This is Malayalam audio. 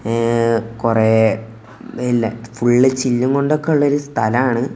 എഹ് കുറെ പിന്നെ ഫുൾ ചില്ല് കൊണ്ടൊക്കെ ഉള്ള ഒരു സ്ഥലാണ്.